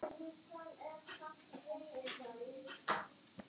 Talar litla sem enga ensku.